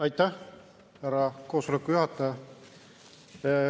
Aitäh, härra koosoleku juhataja!